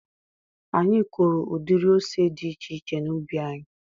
Anyị kụụrụ udiri ose dị iche iche n'ubi anyị.